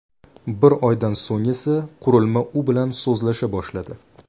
Bir oydan so‘ng esa, qurilma u bilan so‘zlasha boshladi .